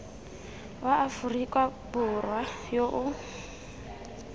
wa aforika borwa yo o